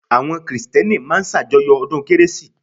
Àwọn Krìstẹ́nì máa ń sàjọyọ̀ ọdún kérésì